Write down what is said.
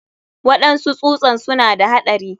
Waɗansu tsusan suna da haɗari.